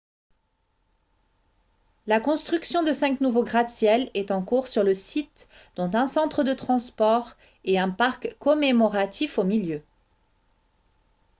la construction de cinq nouveaux gratte-ciels est en cours sur le site dont un centre de transport et un parc commémoratif au milieu